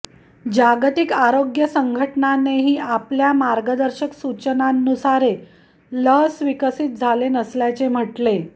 जागतिक आरोग्य संघटनेनेही आपल्या मार्गदर्शक सूचनांनुसारे लस विकसित झाले नसल्याचे म्हटले